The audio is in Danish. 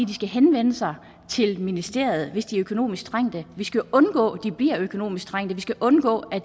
de skal henvende sig til ministeriet hvis de er økonomisk trængte vi skal undgå at de bliver økonomisk trængte vi skal undgå at